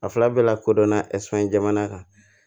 A fila bɛɛ lakodɔnna esze jamana kan